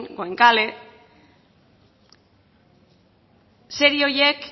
goenkale serie horiek